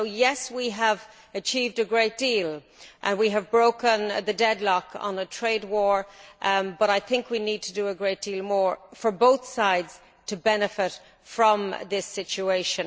So yes, we have achieved a great deal and we have broken the deadlock on a trade war but I think we need to do a great deal more for both sides to benefit from this solution.